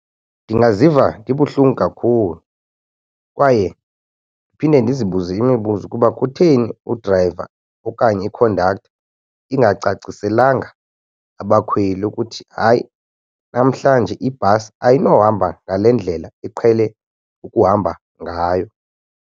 Ndingaziva ndibuhlungu kakhulu kwaye phinde ndizibuze imibuzo ukuba kutheni udrayiva okanye ikhondaktha ingacaciselanga abakhweli ukuthi hayi namhlanje ibhasi ayinohamba ngale ndlela iqhele ukuhamba ngayo.